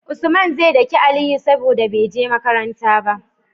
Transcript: Usman ze daki aliyu saboda beje makaranta ba